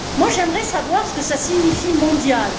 J'aimerais savoir ce que signifie mondiales.